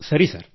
ಸರಿ ಸರ್